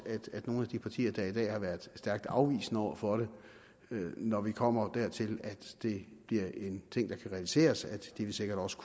at nogle af de partier der i dag har været stærkt afvisende over for det når vi kommer dertil at det bliver en ting der kan realiseres sikkert også